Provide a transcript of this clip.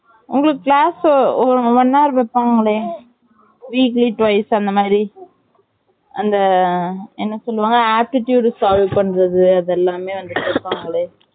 உங்களுக்கு class one hour வைப்பங்களே weekly twice அந்த மாரி அந்த என்ன சொல்லுவங்க அந்த aptitude solve பன்றது அது எல்லாமே வந்துட்டு வைப்பங்களே